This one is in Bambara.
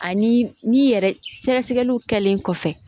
Ani ni yɛrɛ sɛgɛsɛgɛliw kɛlen kɔfɛ